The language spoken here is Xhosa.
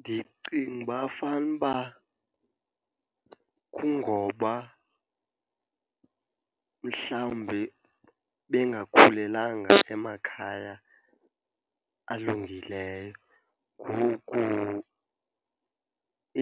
Ndicinga uba fanuba kungoba mhlawumbi bengakhulelanga emakhaya alungileyo, ngoku